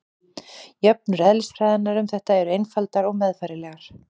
Jöfnur eðlisfræðinnar um þetta eru einfaldar og meðfærilegar.